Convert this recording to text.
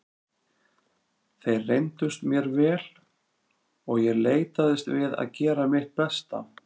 Þeir reyndust mér vel og ég leitaðist við að gera mitt besta.